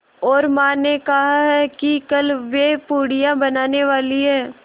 और माँ ने कहा है कि कल वे पूड़ियाँ बनाने वाली हैं